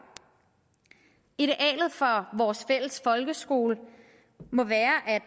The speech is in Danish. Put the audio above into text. idealet for vores fælles folkeskole må være at